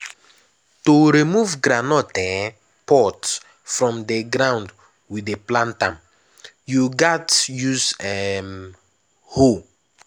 to remove groundnut um pods from ground wey dey plant am you gats use um hoe.